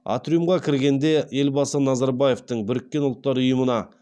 атриумға кіргенде елбасы назарбаевтың біріккен ұлттар ұйымына